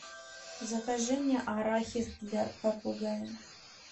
закажи мне арахис для попугая